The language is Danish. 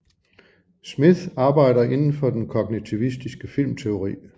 Smith arbejder inden for den kognitivistiske filmteori